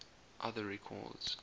other records